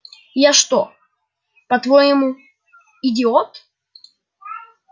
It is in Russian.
я что по-твоему идиот